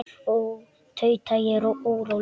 Ó, tauta ég óróleg.